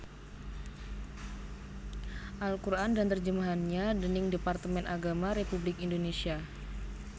Al Qur an dan Terjemahannya déning Departemen Agama Republik Indonesia